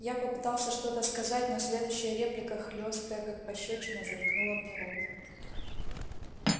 я попытался что-то сказать но следующая реплика хлёсткая как пощёчина заткнула мне рот